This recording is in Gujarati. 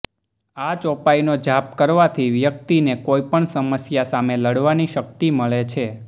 આ ચોપાઇનો જાપ કરવાથી વ્યક્તિને કોઇપણ સમસ્યા સામે લડવાની શક્તિ મળે છે